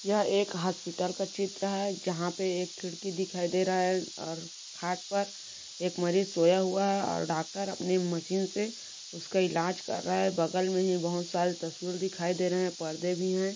यह एक हॉस्पिटल का चित्र है जहाँ पे एक खिड़की देखाई दे रहा है और खाट पर एक मरीज सोया हुआ है डाक्टर अपने मशीन से उसका इलाज कर रहा है बगल मे ही बहोत सरे तस्वीर दिखाई दे रहे है परदे भी है।